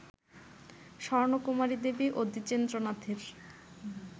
স্বর্ণকুমারী দেবী ও দ্বিজেন্দ্রনাথের